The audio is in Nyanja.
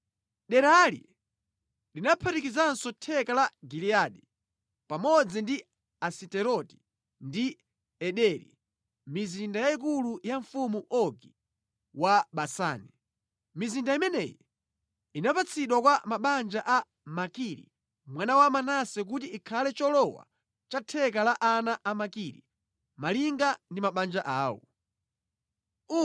Derali linaphatikizanso theka la Giliyadi pamodzi ndi Asiteroti ndi Ederi, mizinda yayikulu ya mfumu Ogi wa Basani. Mizinda imeneyi inapatsidwa kwa mabanja a Makiri, mwana wa Manase kuti ikhale cholowa cha theka la ana a Makiri, malinga ndi mabanja awo.